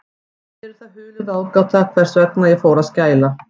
Mér er það hulin ráðgáta, hvers vegna ég fór að skæla.